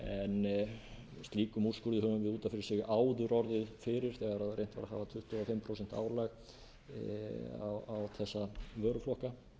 en slíkum úrskurði höfum við út af fyrir sig áður orðið fyrir þegar reynt var að hafa tuttugu og fimm prósent álag á þessa vöruflokka